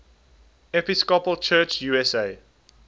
episcopal church usa